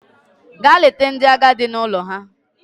Gaa leta ndị agadi n'ụlọ ha!